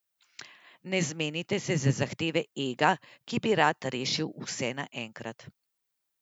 Ne zmenite se za zahteve ega, ki bi rad rešil vse naenkrat.